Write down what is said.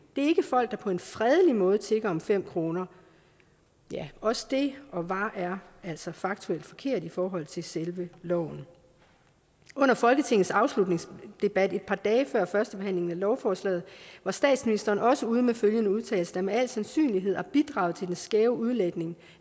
det er ikke folk der på en fredelig måde tigger om fem kroner også det var og er altså faktuelt forkert i forhold til selve loven under folketingets afslutningsdebat et par dage før førstebehandlingen af lovforslaget var statsministeren også ude med følgende udtalelse der med al sandsynlighed har bidraget til den skæve udlægning